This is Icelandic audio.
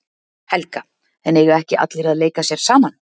Helga: En eiga ekki allir að leika sér saman?